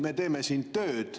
Me teeme siin tööd.